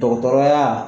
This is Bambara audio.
Dɔgɔtɔrɔya